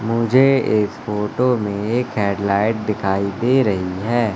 मुझे इस फोटो में एक हेड लाइट दिखाई दे रही है।